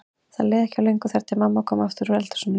Það leið ekki á löngu þar til mamma kom aftur úr eldhúsinu.